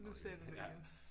Nu sagde du det igen